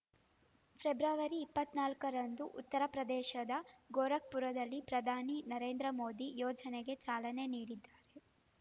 February ಇಪ್ಪತ್ತ್ ನಾಲ್ಕರಂದು ಉತ್ತರಪ್ರದೇಶದ ಗೋರಖ್‌ಪುರದಲ್ಲಿ ಪ್ರಧಾನಿ ನರೇಂದ್ರ ಮೋದಿ ಯೋಜನೆಗೆ ಚಾಲನೆ ನೀಡದ್ದಾರು